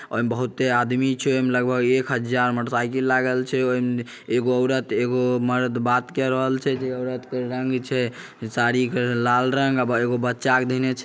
ओय में बहूते आदमी छै। ओय में लगभग एक हज़ार मोटर साइकिल लागल छै। ओय में एक औरत एगो मर्द बात के रहल छै। जे औरत के रंग छै साड़ी क लाल रंग एगो बच्चा के देने--